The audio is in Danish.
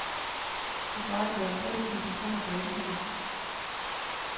Det svarer til halvtreds tusind kroner per indbygger.